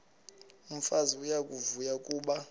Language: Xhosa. umfazi uyavuya kuba